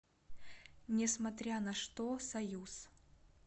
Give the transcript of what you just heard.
несмотря на что союз